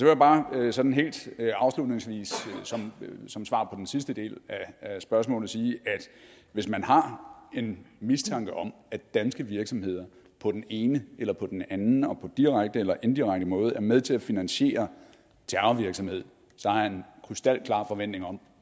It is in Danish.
jeg bare sådan helt afslutningsvis som svar på den sidste del af spørgsmålet sige at hvis man har en mistanke om at danske virksomheder på den ene eller på den anden måde på direkte eller indirekte måde er med til at finansiere terrorvirksomhed så har jeg en krystalklar forventning om